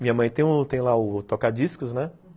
Minha mãe tem tem lá o toca-discos.